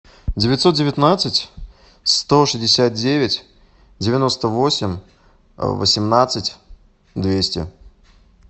девятьсот девятнадцать сто шестьдесят девять девяносто восемь восемнадцать двести